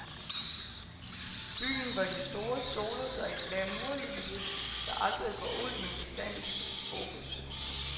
Byen, hvor de store soler sig i glamourlyset, der aldrig går ud, men bestandigt skifter fokus.